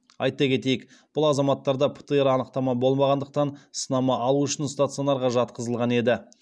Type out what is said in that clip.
айта кетейік бұл азаматтарда птр анықтама болмағандықтан сынама алу үшін стационарға жатқызылған еді